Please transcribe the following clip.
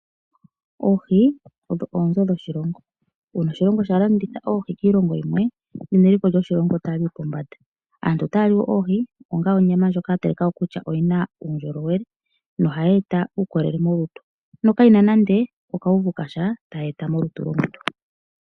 Oohi odho oonzo dhoshilongo uuna oshilongo shalanditha oohi kiilongo yimwe ano eliko lyoshilongo otali yi pombanda. Aantu otaya li woo oohi onga onyama ndjoka yatalikwako kutya oyina uundjolowele yo ohayi eta uukolele moluto nokayina nande okauvu kasha taka eta molutu.